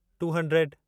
two hundred